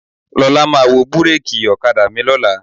Lọ́la máa wo búréèkì ọ̀kadà mi lọ́la.